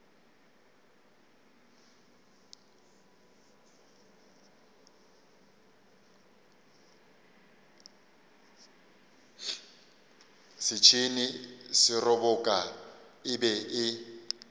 setšhene seroboka e be e